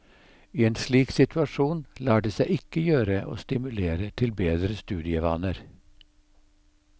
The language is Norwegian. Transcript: I en slik situasjon lar det seg ikke gjøre å stimulere til bedre studievaner.